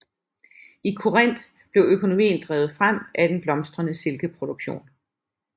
I Korinth blev økonomien drevet frem af en blomstrende silkeproduktion